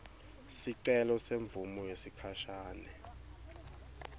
sicelo semvumo yesikhashane